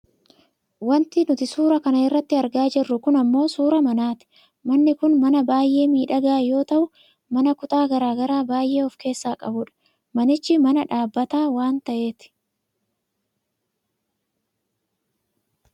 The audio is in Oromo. Wanti nuti suura kana irratti argaa jirru kun ammoo suuraa manaati. Manni kun mana baayyee miidhagaa yoo ta'u mana kutaa gara garaa baayyee of keessaa qabudha. Manichi mana dhaabbata waan ta'eeti.